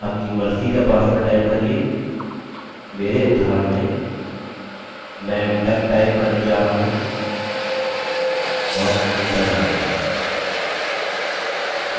अपनी मर्ज़ी का password type करिये मेरे उदाहरण में मैं duck type करने जा रहा हूँ और enter दबाइए